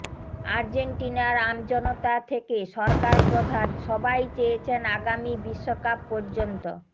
আর্জেন্টিনার আমজনতা থেকে সরকার প্রধান সবাই চেয়েছেন আগামী বিশ্বকাপ পর্যন্ত